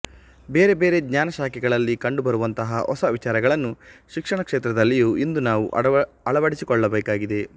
ಬೇರೆ ಬೇರೆ ಜ್ಞಾನ ಶಾಖೆಗಳಲ್ಲಿ ಕಂಡು ಬರುವಂತಹ ಹೊಸ ವಿಚಾರಗಳನ್ನು ಶಿಕ್ಷಣ ಕ್ಷೇತ್ರದಲ್ಲಿಯೂ ಇಂದು ನಾವು ಅಳವಡಿಸಿಕೊಳ್ಳಬೇಕಾಗಿದೆ